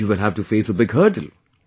You will have to face a big hurdle